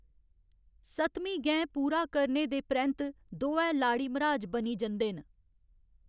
सतमीं गैं पूरा करने दे परैंत्त दोऐ लाड़ी मर्‌हाज बनी जंदे न।